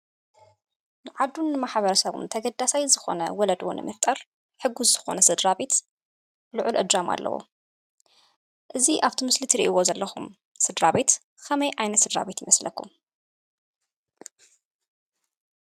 ንዓዱን ንማሕበረሰቡን ተገዳሳይ ዝኾነ ወለዶ ንምፍጣር ሕጉስ ዝኾነ ስድራ ቤት ልዑል እጃም ኣለዎ፡፡ እዚ ኣፍቲ መስሊ ትሪእዎ ዘለኹም ስድራ ቤት ኸመይ ዓይነት ስድራ ቤት ይመስለኩም?